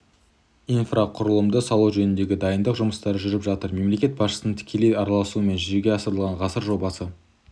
инфрақұрылымды салу жөнінде дайындық жұмыстары жүріп жатыр мемлекет басшысының тікелей араласуымен жүзеге асырылған ғасыр жобасы